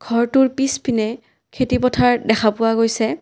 ঘৰটোৰ পিছপিনে খেতি পথাৰ দেখা পোৱা গৈছে।